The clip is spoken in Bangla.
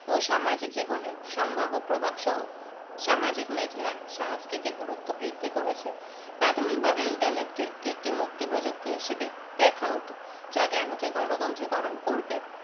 ও সামাজিক জীবনে সম্ভাব্য প্রভাব সহ সামাজিক media র সংস্কৃতির গুরুত্ব বৃদ্ধি করেছে প্রাথমিকভাবে internet কে একটি মুক্তি প্রযুক্তি হিসেবে দেখা হতো যা জ্ঞানকে গণতন্ত্রকরন করবে